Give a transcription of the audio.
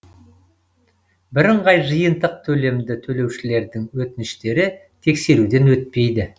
бірыңғай жиынтық төлемді төлеушілердің өтініштері тексеруден өтпейді